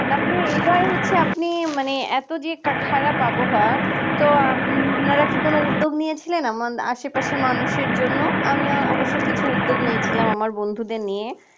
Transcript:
তারপরে এই বার হচ্ছে আপনি মানে এত যে খারাপ আবহাওয়া তো আপনারা কোন উদ্যোগ নিয়ে ছিলেন আমাদের আশেপাশে মানুষের জন্য আমিও অবশ্য কিছু উদ্যোগ নিয়েছিলাম আমার বন্ধুদের নিয়ে